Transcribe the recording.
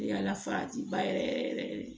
Yaala faji ba yɛrɛ yɛrɛ yɛrɛ yɛrɛ yɛrɛ